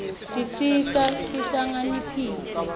tisenta sihlakanipite